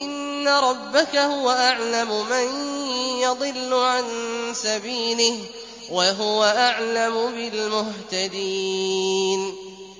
إِنَّ رَبَّكَ هُوَ أَعْلَمُ مَن يَضِلُّ عَن سَبِيلِهِ ۖ وَهُوَ أَعْلَمُ بِالْمُهْتَدِينَ